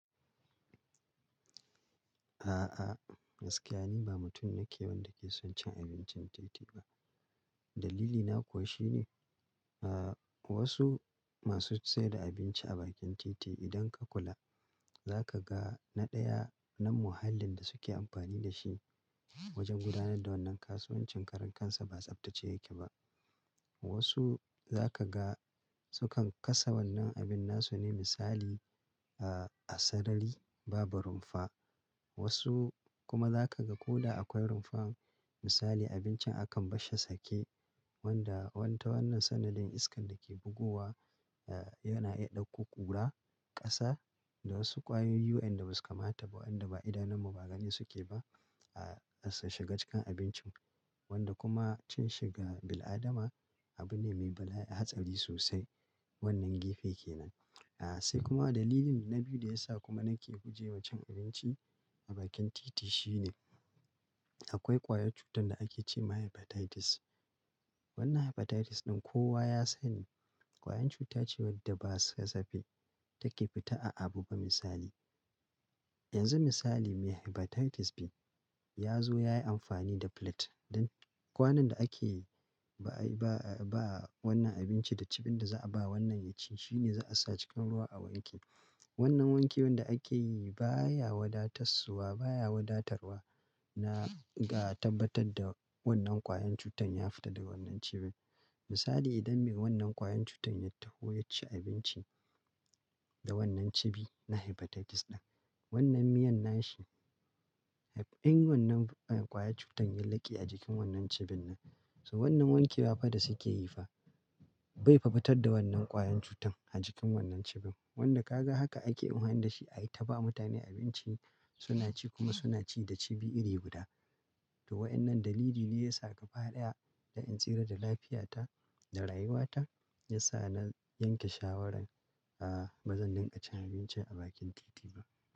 A'a, gaskiya ni ba mutum nake wanda ke son cin abincin titi ba. Dalili na koh shine, a wasu masu sayar da abinci a bakin titi idan ka kula, za ka ga naɗaya na muhallin da suke amfani da shi wajen gudanar da wannan kasuwancin, karen kansa ba tsaftace yake ba. Wasu za ka ga su kan kasa wannan abin, nasu ne misali a sarari babu rumfa. Wasu kuma za ka ga ko da akwai rumfa, misali abincin akan bashe sake wanda wanna wannan sanadin iskan da ke bugowa yana iya ɗauko ƙura, ƙasa da wasu ƙwayoyin yu'yan da basu kamata ba wanda ba idanunmu ba gani suke ba ya shiga cikin abincin wanda kuma cin shi ga bil'adama abu ne mai bala'i hatsari sosai. Wannan gefe kenan. A sai kuma dalilin na biyu da ya sa kuma nake guje wa cin abinci a bakin titi shine akwai ƙwayar cutar da ake ce ma Hepatitis. Wannan Hepatitis ɗin kowa ya san ƙwayar cuta ce wadda ba kasafe take fita a abu ba misali. Yanzu misali mai Hepatitis biyu ya zo ya yi amfani da plate don kwanon da ake ba wannan abinci da cibin da za a ba wannan yaci shine za a sa cikin ruwa a wanke. Wannan wanke wanda ake yi baya wadatassuwa, baya wadatarwa na ga tabbatar da wannan ƙwayar cutar ya fita daga wannan cibin. Misali idan me wannan ƙwayar cutar ya taho ya ci abinci da wannan cibi na Hepatitis ɗin, wannan miyan nashi in wannan ƙwayar cutar ya laƙe a jikin wannan cibin nan, sannan wanke ba faɗa suke yi fa bai fa fitar da wannan ƙwayar cutar a jikin wannan cibin. Wanda ka ga haka ake amfani da shi a yi ta ba mutane abinci suna ci kuma suna ci da cibi iri guda. To waɗannan dalili biyu ya sa ka faɗa da in tsira da lafiyata da rayuwata ya sa na yanke shawarar a bazan dinga cin abinci a bakin titi ba.